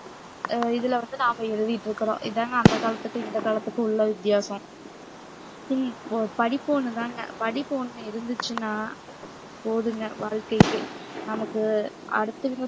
அஹ் இதுல வந்து நாம எழுதிட்டு இருக்கிறோம் இதாங்க அந்த காலத்துக்கும் இந்த காலத்துக்கும் உள்ள வித்தியாசம் இந்~ படிப்பு ஒண்ணுதாங்க படிப்பு ஒண்ணு இருந்துச்சுன்னா போதும்ங்க வாழ்க்கைக்கு நமக்கு அடுத்தவங்க